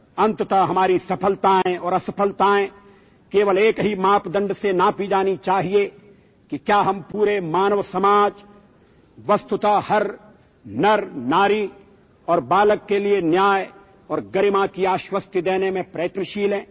آخرکار ہماری کامیابیاں اور ناکامیاں صرف ایک ہی پیمانے سے ناپی جانی چاہیے کہ کیا ہم پوری انسانیت، ہر مرد و عورت اور بچے کے لیے انصاف اور عزت کی یقینی دہانی کرانے میں کوشاں ہیں